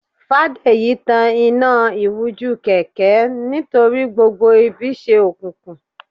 fadeyi tàn Ina iwujú kẹkẹ nítorí gbógbó ibí se okùnku